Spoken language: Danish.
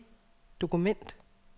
dokument